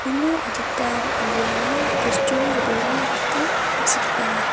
uno adita inderang bostu brena gita basetokenga.